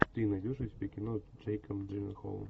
ты найдешь у себя кино с джейком джилленхолом